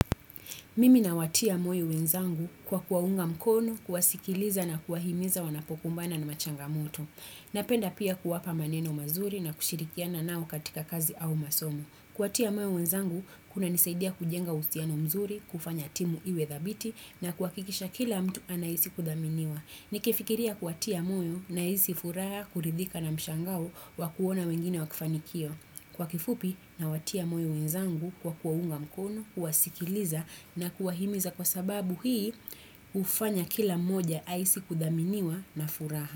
Mimi nawatia moyo wenzangu kwa kuwaunga mkono, kuwasikiliza na kuwahimiza wanapokumbana na machangamito. Napenda pia kuwapa maneno mazuri na kushirikiana nao katika kazi au masomo. Kuwatia moyo wenzangu, kunanisaidia kujenga uhusiano mzuri, kufanya timu iwe thabiti na kuhakikisha kila mtu anahisi kuthaminiwa. Nikifikiria kuwatia moyo nahisi furaha kuridhika na mshangao wa kuona wengine wakifanikiwa. Kwa kifupi nawatia moyo wenzangu kwa kuwaunga mkono, kuwasikiliza na kuwahimiza kwa sababu hii hufanya kila moja ahisi kuthaminiwa na furaha.